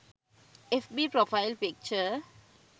fb profile picture